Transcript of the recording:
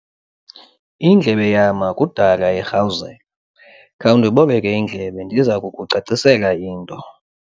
Indlebe yama kudala irhawuzela. khawundiboleke indlebe ndiza kukucacisela into